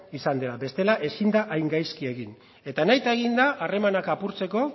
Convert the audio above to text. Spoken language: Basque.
izan dela bestela ezin da hain gaizki egin eta nahita egin da harremanak apurtzeko